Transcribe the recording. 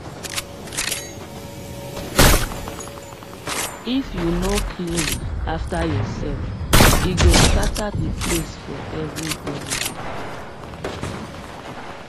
if you no clean after yourself e go scatter the place for everybody